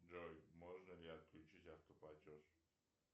джой можно ли отключить автоплатеж